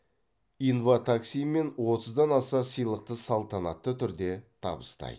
инватакси мен отыздан аса сыйлықты салтанатты түрде табыстайды